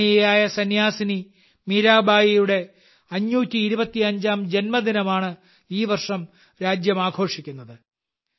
ആദരണീയയായ സന്യാസിനി മീരാബായിയുടെ 525ാം ജന്മദിനമാണ് ഈ വർഷം രാജ്യം ആഘോഷിക്കുന്നത്